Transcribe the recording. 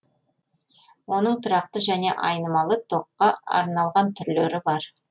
оның тұрақты және айнымалы токқа арналған түрлері бар